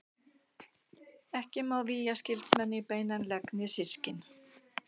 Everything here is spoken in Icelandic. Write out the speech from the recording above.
Ekki má vígja skyldmenni í beinan legg né systkin.